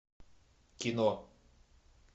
кино